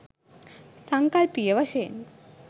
සංකල්පීය වශයෙන්